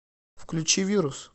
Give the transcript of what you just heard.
включи вирус